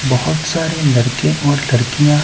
बहुत सारे लड़के और लड़कियाँ--